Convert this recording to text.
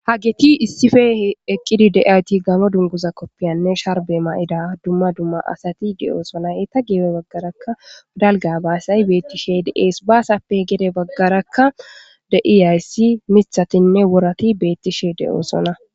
hageti issife eqqidi de7ayti gamo dunguza koppiyanne sharbe ma7ida dumma dumma asati de7oosonay e ta geebe baggarakka dalga baasay beettishe deees baasappe gede baggarakka deiyayssi mithatinne worati beettishe de7oosona